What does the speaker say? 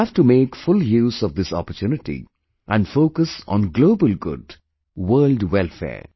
We have to make full use of this opportunity and focus on Global Good, world welfare